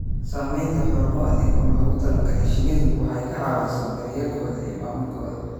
Samaynta xarumo adeeg oo loogu talagalay shinnidu waxay ka caawisaa daryeelkooda iyo maamulkooda.